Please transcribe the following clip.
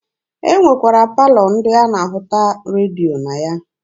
E nwekwara palọ ndị a na-ahụta redio na ya.